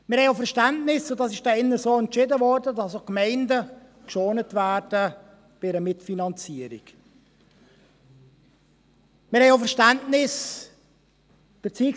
Wir haben auch Verständnis – dies wurde hier in diesem Saal so entschieden –, dass auch die Gemeinden bei einer Mitfinanzierung geschont werden.